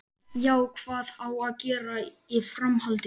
Já, hvað á að gera í framhaldinu?